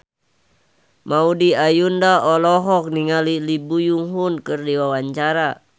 Maudy Ayunda olohok ningali Lee Byung Hun keur diwawancara